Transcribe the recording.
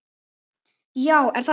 Já, er það rétt?